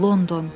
London.